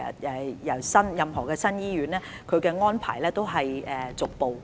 就任何新建醫院所訂的安排皆是逐步落實的。